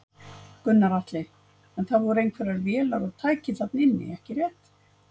Gunnar Atli: En það voru einhverjar vélar og tæki þarna inni ekki rétt?